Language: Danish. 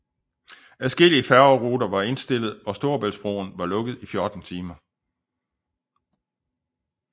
Adskillige færgeruter var indstillet og Storebæltsbroen var lukket i 14 timer